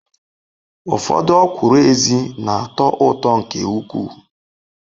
Ufodu okwuru ezi na-ato uto nke ukwu